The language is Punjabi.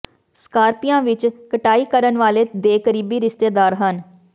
ਸਕਾਰਪੀਆਂ ਵਿਚ ਕਟਾਈ ਕਰਨ ਵਾਲੇ ਦੇ ਕਰੀਬੀ ਰਿਸ਼ਤੇਦਾਰ ਹਨ